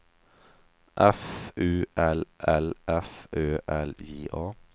F U L L F Ö L J A